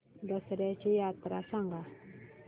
दसर्याची यात्रा सांगा